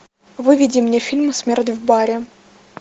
выведи мне фильм смерть в баре